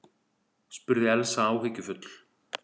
spurði Elsa áhyggjufull.